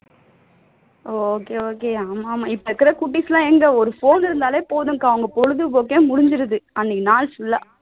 ஆமா ஆமா இப்ப இருக்குற குட்டிஸ் எல்லாம் எங்க ஒரு phone இருந்தாலே போதும் அவங்களுக்கு பொழுது போக்கே முடிஞிருது அன்னைக்கு நாள் full ஆ